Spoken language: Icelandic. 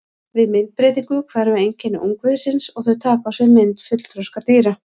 Við myndbreytingu hverfa einkenni ungviðisins og þau taka á sig mynd fullþroska dýra.